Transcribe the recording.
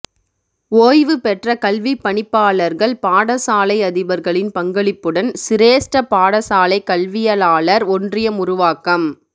ஓய்வு பெற்ற கல்விப்பணிப்பாளர்கள் பாடசாலை அதிபர்களின் பங்களிப்புடன் சிரேஸ்ட பாடசாலை கல்வியளாளர் ஒன்றியம் உருவாக்கம்